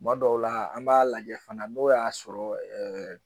Tuma dɔw la an m'a lajɛ fana n'o y'a sɔrɔ